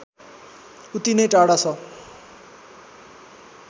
उति नै टाढा छ